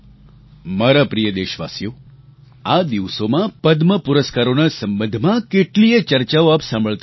મારા પ્રિય દેશવાસીઓ આ દિવસોમાં પદ્મ પુરસ્કારોના સંબંધમાં કેટલીયે ચર્ચાઓ આપ સાંભળતા હશો